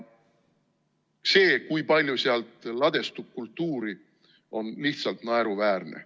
See, kui palju sealt ladestub kultuuri, on lihtsalt naeruväärne.